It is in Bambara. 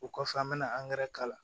O kɔfɛ an bɛna k'a la